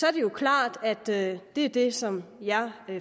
er det jo klart at det er det som jeg